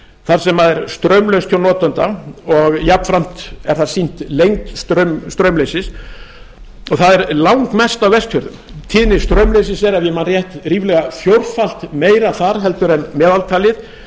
þar sem er straumlaust hjá notanda og jafnframt er þar sýnt lengd straumleysis og það er langmest á vestfjörðum tíðni straumleysis er ef ég man rétt ríflega fjórfalt meiri þar heldur en meðaltalið